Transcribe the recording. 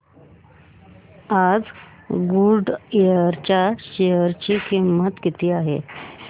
आज गुडइयर च्या शेअर ची किंमत किती आहे